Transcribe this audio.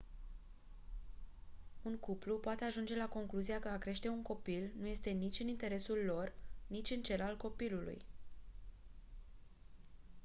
un cuplu poate ajunge la concluzia că a crește un copil nu este nici în interesul lor nici în cel al copilului